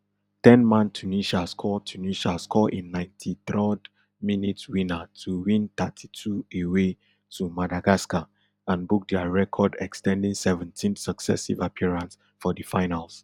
ten man tunisia score tunisia score a ninety-throd minute winner to win thirty-two away to madagascar and book dia record ex ten ding seventeenth successive appearance for di finals